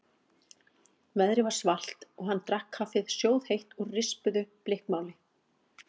Veðrið var svalt og hann drakk kaffið sjóðheitt úr rispuðu blikkmáli.